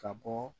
Ka bɔ